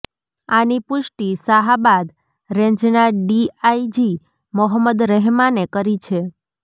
આની પુષ્ટિ શાહાબાદ રેન્જના ડીઆઈજી મોહમ્મદ રહેમાને કરી છે